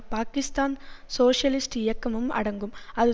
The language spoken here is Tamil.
பாக்கிஸ்தான் சோசியலிஸ்ட் இயக்கமும் அடங்கும் அது